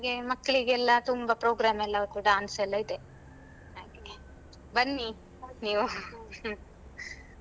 ಹಾಗೆ ಮಕ್ಲಿಗೆಲ್ಲ ತುಂಬ program ಎಲ್ಲ ಅವತ್ತು dance ಎಲ್ಲ ಇದೆ ಹಾಗೆ ಬನ್ನಿ ನೀವು .